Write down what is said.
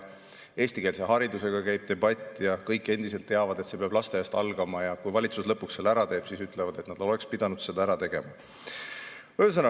Eestikeelse hariduse üle käib debatt ja kõik teavad, et see peab lasteaiast algama, ja kui valitsus lõpuks selle ära teeb, siis öeldakse, et oleks pidanud ära tegema.